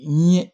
N ye